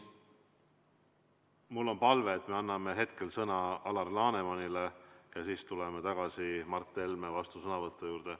Mul on palve, et me anname hetkel sõna Alar Lanemanile ja siis tuleme tagasi Mart Helme vastusõnavõtu juurde.